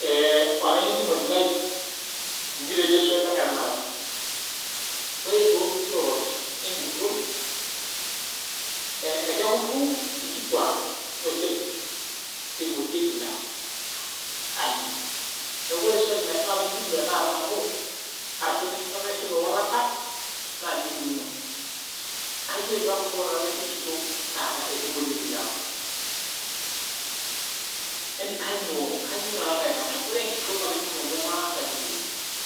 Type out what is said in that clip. Eee olaininingoni lai nji taa ejo swali ang e tanakata. Ore too nkirorot enguton e kekuru inkituak oleng eingorieki ilewa, kainyoo? Neaku ore swali naifaa naijibu tanakata nanu arashu peyie aishoru ewalata naa naa nji eikununo. Kainyoo doi peyie ekurru kuna naji enkitok taata teneingorieki ilewa. Kainyo taa taata. Ore enkitok olaininingoni lai maatangasa